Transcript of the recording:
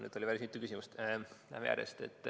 Nüüd oli päris mitu küsimust, läheme järjest.